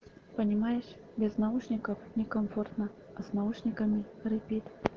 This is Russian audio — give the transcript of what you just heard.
понимаешь без наушников некомфортно а с наушниками репит